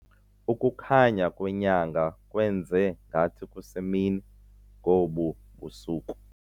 Ukukhanya kwenyanga kwenze ngathi kusemini ngobu busuku.